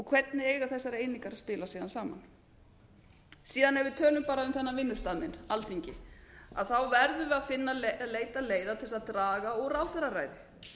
hvernig eiga þessar einingar síðan að spila saman ef við tölum síðan um þennan vinnustað minn alþingi þá verðum við að leita leiða til að draga úr ráðherraræði